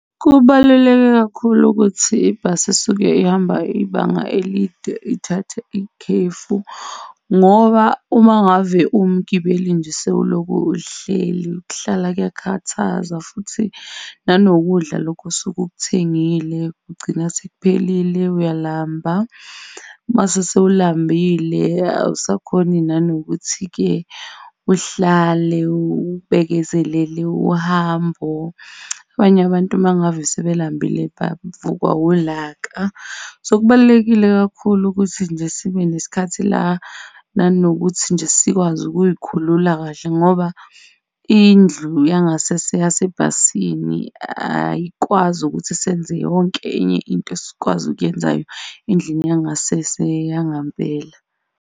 Kubaluleke kakhulu ukuthi ibhasi esuke ihamba ibanga elide ithathe ikhefu, ngoba uma ngave ungumgibeli nje sewulokhu uhleli, ukuhlala kuyakhathaza futhi nanokudla lokhu osuke ukuthengile kugcina sekuphelile, uyalamba. Uma sewulambile awusakhoni nanokuthi-ke uhlale ubekezelele uhambo. Abanye abantu mangave sebelambile bavukwa wulaka. So, kubalulekile kakhulu ukuthi nje sibe nesikhathi la nanokuthi nje sikwazi ukuzikhulula kahle ngoba indlu yangasese yasebhasini ayikwazi ukuthi senze yonke enye into esikwazi ukuyenzayo endlini yangasese yangempela.